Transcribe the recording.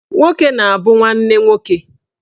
Nwoke na-abụ nwanne nwoke